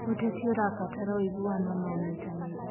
ũteti ũrabatara ũiguano na ũnyitanĩri.